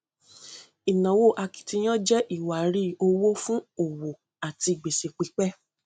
ìnáwó akitiyan jẹ iwari owó fún òwò àti gbèsè pípẹ